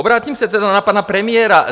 Obrátím se tedy na pana premiéra.